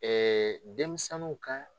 denmisɛnniw ka